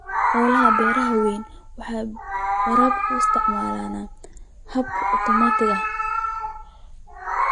Hawlaha beeraha waaweyni waxay waraabka u isticmaalaan habab otomaatig ah.